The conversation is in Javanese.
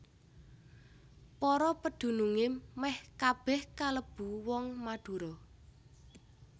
Para pedunungé mèh kabèh kalebu wong Madura